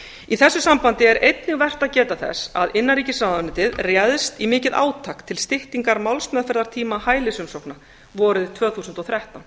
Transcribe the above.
í þessu sambandi er einnig vert að geta þess að innanríkisráðuneytið réðst í mikið átak til styttingar málsmeðferðartíma hælisumsókna vorið tvö þúsund og þrettán